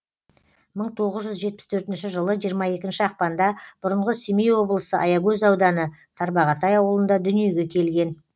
мың тоғыз жүз жетпіс төртінші жылы жиырма екінші ақпанда бұрынғы семей облысы аягөз ауданы тарбағатай ауылында дүниеге келген